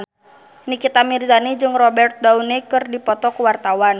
Nikita Mirzani jeung Robert Downey keur dipoto ku wartawan